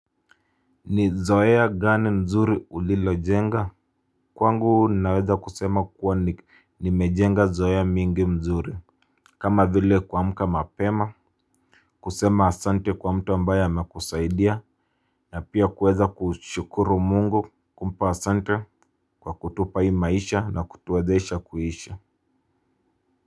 Ni zoea gani mzuri ulilo jenga? Kwangu naweza kusema kuwa nimejenga zoea mingi mzuri. Kama vile kuamka mapema kusema asante kwa mtu ambaye amekusaidia. Na pia kuweza kushukuru Mungu kumpa asante kwa kutupa hii maisha na kutuwezesha kuisha.